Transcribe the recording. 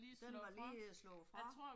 Den var lige slået fra